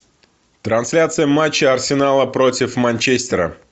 трансляция матча арсенала против манчестера